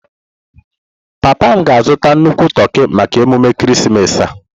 Papa m ga-azụta nnukwu toki maka emume ekeresimesi a.